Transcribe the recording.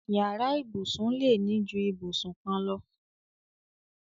Yàrá ìbùsùn lè ní ju ìbùsùn kan lọ.